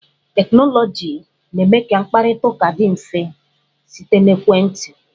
Teknọlọjii na-eme ka mkparịta ụka dị mfe site n'ekwentị.